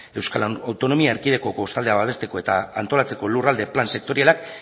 euskal autonomia erkidegoko kostaldea babesteko eta antolatzeko lurralde plan sektorialak